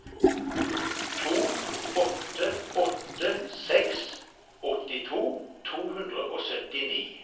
to åtte åtte seks åttito to hundre og syttini